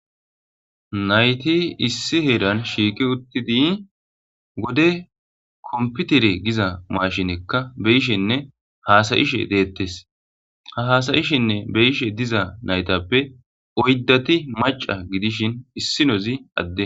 Na7ithi issi heeran shiiqi uththidi wode komppithere giza maashinekka be7ishenne haasa7ishe deeththees; ha haasa7ishinne be7ishe diza na7ithappe oyddathi macca gidishin issinozi adde.